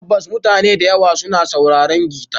Tabbas mutane da yawa suna sauraron gita.